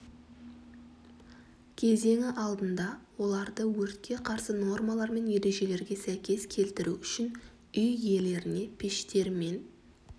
кезеңі алдында оларды өртке қарсы нормалар мен ережелерге сәйкес келтіру үшін үй иелеріне пештер мен